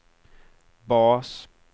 bas